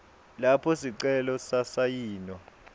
lapho sicelo sasayinwa